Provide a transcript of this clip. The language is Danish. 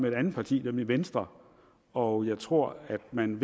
et andet parti nemlig venstre og jeg tror at man